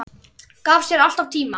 Gaf sér alltaf tíma.